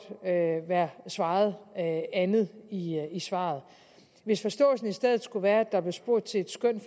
være svaret andet i svaret hvis forståelsen i stedet skulle være at der blev spurgt til et skøn